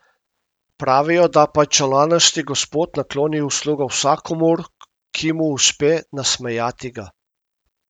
Pravijo, da Pajčolanasti gospod nakloni uslugo vsakomur, ki mu uspe nasmejati ga.